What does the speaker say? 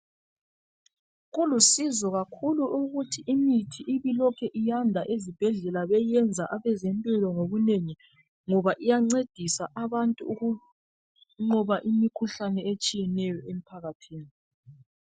Kulusizo kakhulu ukuthi imithi ibe ilokhu iyanda ezibhedlela beyiyenza abezempilo nhobunengi ngoba iyanceda abantu ukunqoba imikhuhlane eminengi emphakathini.